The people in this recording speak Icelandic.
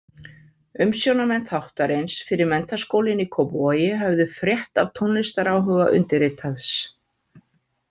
Umsjónarmenn þáttarins fyrir Menntaskólinn í Kópavogi höfðu frétt af tónlistaráhuga undirritaðs.